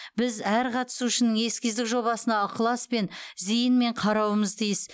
біз әр қатысушының эскиздік жобасына ықыласпен зейінмен қарауымыз тиіс